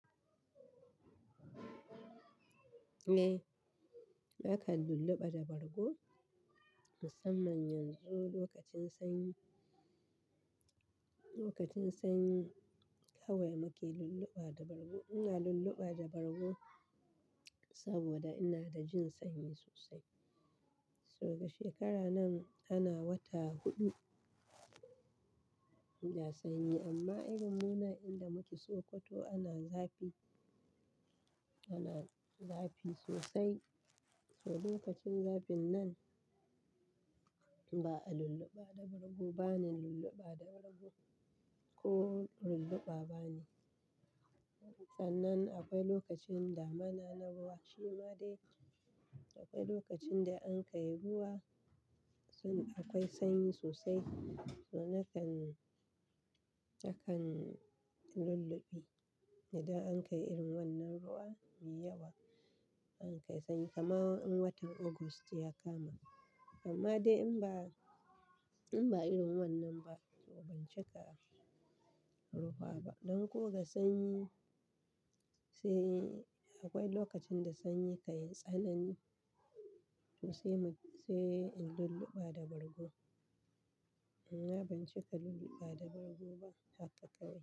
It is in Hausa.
Eh, nakan lulluɓa da bargo musamman yanzu lokacin sanyi. Lokacin sanyi kawai muke lulluɓa da bargo. Ina lulluɓa da bargo saboda ina da jin sanyi sosai. Saboda shekara nan ana wata huɗu ina sanyi amma irin mu nan inda muke Sokoto ana zafi, ana zafi sosai. So lokacin zafin nan ba a lulluɓa da bargo, bani lulluɓa da bargo ko lulluɓa bani. Sanan akwai lokacin damana na ruwa shima dai akwai lokacin da an kai ruwa son akwai sanyi sosai. So nakan, nakan lulluɓi idan an kai irin wannan ruwa me yawa an kai sanyi kaman in watan August ya kama. Amma dai in ba, in ba irin wannan ba to ban cika rufa ba. Don ko ga sanyi, sai akwai lokacin da sanyi ka yi tsanani so sai mu, sai in lulluɓa da bargo. Amma ban cika lulluɓa da bargo ba haka kawai.